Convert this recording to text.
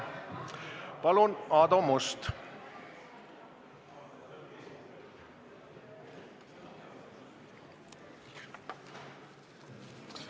Palun, Aadu Must!